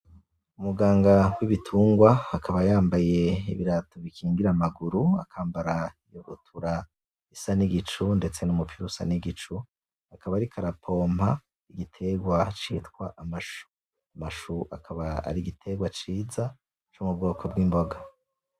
Umuganga w'ibitungwa akaba yambaye ibirato bikingira amaguru, akambara ibutura isa n'igicu ndetse numupira usa n'igicu, akaba ariko arapompa igiterwa citwa amashu. Amashu akaba ari igiterwa ciza co mu bwoko bw'imboga.